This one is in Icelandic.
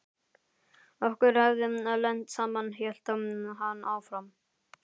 Okkur hefði lent saman hélt hann áfram.